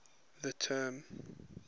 the term